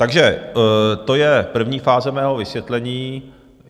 Takže to je první fáze mého vysvětlení.